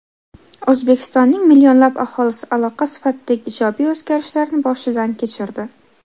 O‘zbekistonning millionlab aholisi aloqa sifatidagi ijobiy o‘zgarishlarni boshidan kechirdi.